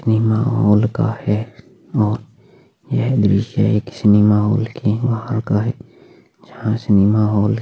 cinema hall का है और ये दृश्य एक सिनेमा हॉल के वहां का है जहाँ सिनेमा हॉल --